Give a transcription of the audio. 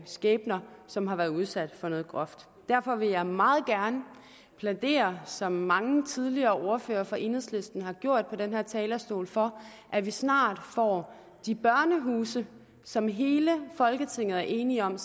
skæbner som har været udsat for noget groft derfor vil jeg meget gerne plædere som mange tidligere ordførere for enhedslisten har gjort på den her talerstol for at vi snart får de børnehuse som hele folketinget er enige om